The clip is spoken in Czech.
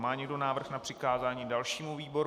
Má někdo návrh na přikázání dalšímu výboru?